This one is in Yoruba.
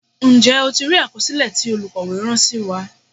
Ǹjẹ́ o ti rí àkọsílẹ̀ tí olukowe rán sí wa.